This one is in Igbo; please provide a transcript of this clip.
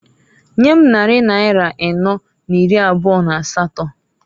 Nyem nnarị naịra ịnọọ na iri abụọ n'asatọǃ